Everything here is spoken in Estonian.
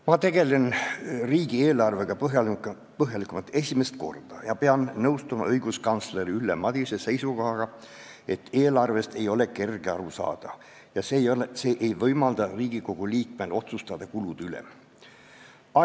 Ma tegelen riigieelarvega põhjalikumalt esimest korda ja pean nõustuma õiguskantsler Ülle Madise seisukohaga, et eelarvest ei ole kerge aru saada ja see ei võimalda Riigikogu liikmel kulude üle otsustada.